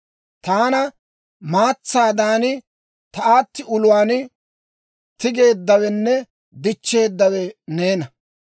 Taana maatsaadan ta aatti uluwaan tigeeddawenne dichcheedawe neena.